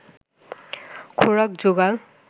খোরাক জোগাল